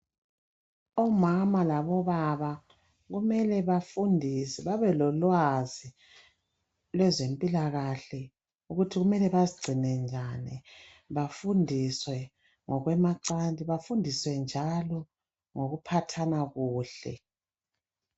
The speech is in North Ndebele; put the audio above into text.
Omama labobaba kumele bafundiswe babelolwazi lwezempilakahle ukuthi kumele bazigcine njani. Bafundiswe ngokwemacansi, bafundiswe njalo ngokuphathana kuhle.